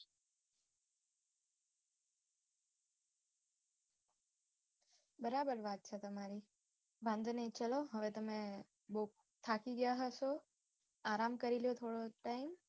બરાબર વાત છે તમારી વાંધો નઈ ચાલો હવે તમે બૌ થાકી ગયા હશો આરામ કરી લ્યો થોડોક time